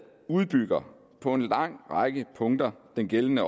udbygger på en lang række punkter den gældende